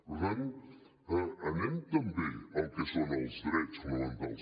per tant anem també al que són els drets fonamentals